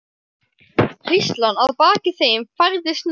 Hríslan að baki þeim færðist nær.